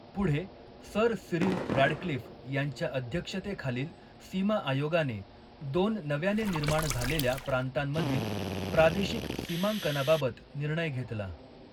पुढे, sir Cyril Radcliffe यांच्या अध्यक्षतेखालील सीमा आयोगाने दोन नव्याने निर्माण झालेल्या प्रांतांमधील प्रादेशिक सीमांकनाबाबत निर्णय घेतला.